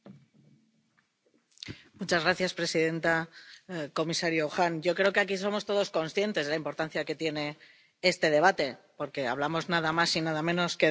Señora presidenta, comisario, yo creo que aquí somos todos conscientes de la importancia que tiene este debate, porque hablamos, nada más y nada menos, que del Estado de Derecho